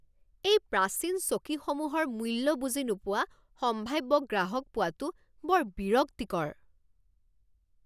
এই প্ৰাচীন চকীসমূহৰ মূল্য বুজি নোপোৱা সম্ভাব্য গ্ৰাহক পোৱাটো বৰ বিৰক্তিকৰ।